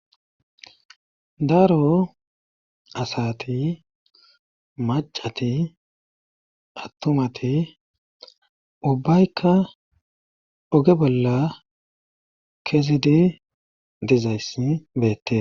daaro asati macati attumati ubbaykka oge bolla kesedi dezayssi beette